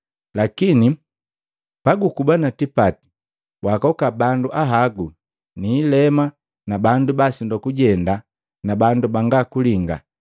Lakini pagukuba na tipati, waakoka bandu ahagu ni ileema na bandu basindwa kujenda na bandu banga kulinga,